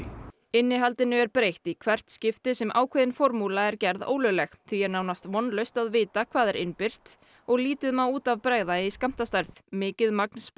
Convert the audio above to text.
innihaldinu er breytt í hvert skipti sem ákveðin formúla er gerð ólögleg því er nánast vonlaust að vita hvað er innbyrt og lítið má út af bregða í skammtastærð mikið magn